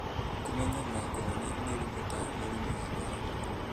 Kũmenya na kũhonia mĩrimũ ta mũrimũ wa kũharwo